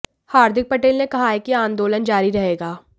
हार्दिक पटेल ने कहा है कि आंदोलन जारी रहेगा